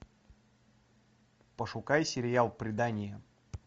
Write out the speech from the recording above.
пошукай сериал предание